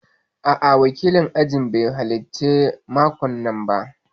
A'a, wakilin ajin bai halarci laccan makon nan ba